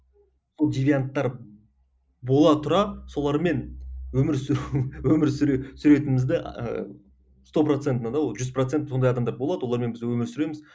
ол девианттар бола тұра солармен өмір сүру өмір сүре сүретінімізді ыыы сто процентный да ол жүз процент сондай адамдар болады олармен біз өмір сүреміз